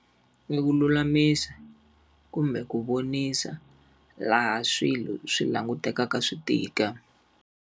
Ni ku lulamisa kumbe ku vonisa laha swilo swi langutekaka swi tika.